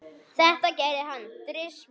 Þetta gerði hann þrisvar sinnum.